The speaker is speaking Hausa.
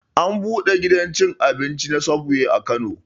An buɗe gidan cin abinci na subway a kano